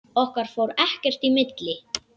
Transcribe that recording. Okkar fór ekkert í milli.